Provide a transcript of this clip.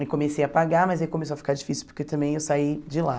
E comecei a pagar, mas aí começou a ficar difícil, porque também eu saí de lá.